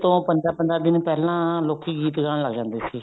ਤੋਂ ਪੰਦਰਾਂ ਪੰਦਰਾਂ ਦਿਨ ਪਹਿਲਾਂ ਲੋਕੀ ਗੀਤ ਗਾਣ ਲੱਗ ਜਾਂਦੇ ਸੀ